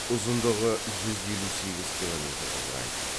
ұзындығы жүз елу сегіз километрді құрайды